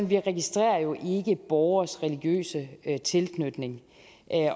vi ikke registrerer borgeres religiøse tilknytning